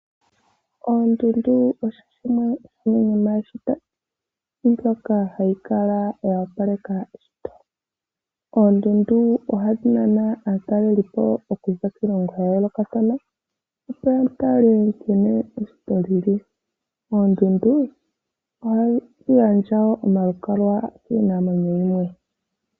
Oondundu odho dhimwe dhomiishitomwa ndjoka hayi opaleke eshito lyomoshilongo shetu shaNamibia. Oondundu ohadhi nana aataleli okuza kiishindalongo yayolokathana, naataleli oha yeya yatale nkene eshito lili lyomoshilongo shetu . Oondundu odhina woo omakololo nomakololo ngaka ogeli onga omalukalwa giinamwenyo yimwe.